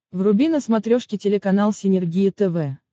вруби на смотрешке телеканал синергия тв